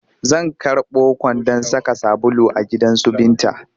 Zan karɓo kwandon saka sabulu a gidansu Binta